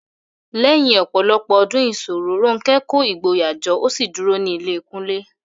Lẹ́yìn ọ̀pọ̀lọpọ̀ ọdún ìṣòro, Ronke kó ìgboyà jọ ó sì kúrò ní ilé Kunle.